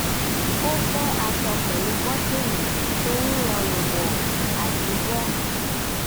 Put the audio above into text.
ó fẹ́ aṣọ pẹ̀lú bọ́tíìnì torí rọrùn wọ̀ àti bọ́